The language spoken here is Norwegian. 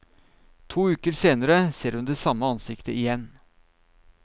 To uker senere ser hun det samme ansiktet igjen.